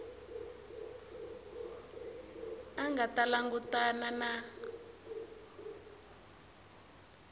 a nga ta langutana na